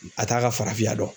A t'a ka farafinya dɔn